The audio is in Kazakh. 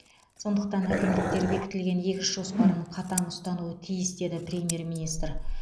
сондықтан әкімдіктер бекітілген егіс жоспарын қатаң ұстануы тиіс деді премьер министр